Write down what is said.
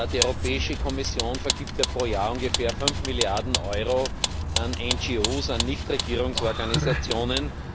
Die Europäische Kommission vergibt pro Jahr ungefähr 5 Milliarden Euro an Nichtregierungsorganisationen.